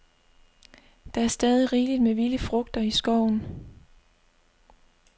Der er stadig rigeligt med vilde frugter i skoven.